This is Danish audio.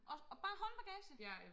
Og og bare håndbagagen!